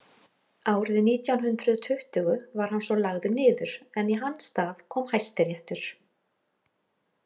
Árið nítján hundrað tuttugu var hann svo lagður niður en í hans stað kom Hæstiréttur.